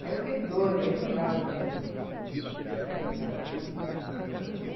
Daí eu fiquei doida, aí me mandavam vir, você tinha que encomendar tudo da, da França.